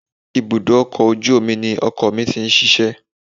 Ibùdó ọkọ̀ ojú omi ni ọkọ mi ti ń ṣiṣẹ́